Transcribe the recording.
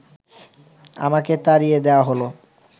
আমাকে তাড়িয়ে দেওয়া হল